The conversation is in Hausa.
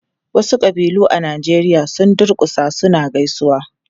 Wasu ƙabilu a Najeriya sun durkusa suna gaisawa.